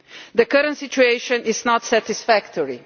The current situation is not satisfactory.